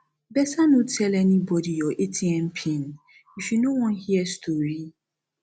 beta no tell anybody your atm pin if you no wan hear story